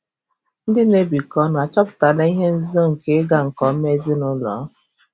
Ndị na-ebikọ ọnụ achọpụtala ihe nzuzo nke ịga nke ọma ezinụlọ?